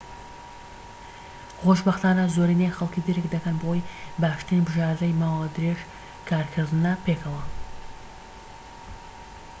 خۆشبەختانە زۆرینەی خەلکی درك دەکەن بەوەی باشترین بژاردەی ماوە درێژ کارکردنە پێکەوە